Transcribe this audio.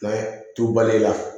Nka tubaliya